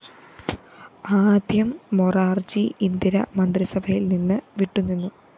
ആദ്യം മൊറാര്‍ജി ഇന്ദിര മന്ത്രിസഭയില്‍ നിന്ന്‌ വിട്ടുനിന്നു